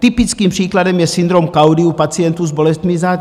Typickým příkladem je syndrom kaudy u pacientů s bolestmi zad.